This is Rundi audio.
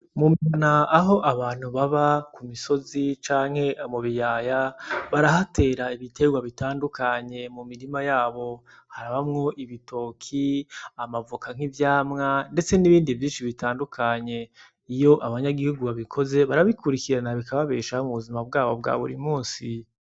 Mu mihana aho abantu baba, ku misozi canke mu biyaya, barahatera ibiterwa bitandukanye mu mirima yabo. Harabamwo ibitoke, amavoka nk'ivyamwa, ndetse n'ibindi vyinshi bitandukanye. Iyo abanyagihugu babikoze, barabikurikirana bikababeshaho mu buzima bwabo bwa buri munsi.